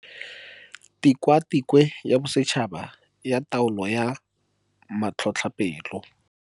Tikwatikwe ya Bosetšhaba ya Taolo ya Matlhotlhapelo.